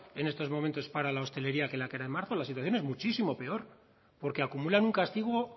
en estos momentos para la hostelería que la que era en marzo la situación es muchísimo peor porque acumulan un castigo